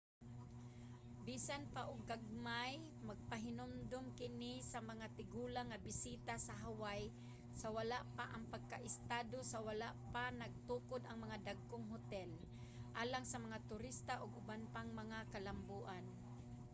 bisan pa og gagmay magpahinumdom kini sa mga tigulang nga bisita sa hawaii sa wala pa ang pagkaestado sa wala pa natukod ang mga dagkong hotel alang sa mga turista ug uban pang mga kalamboan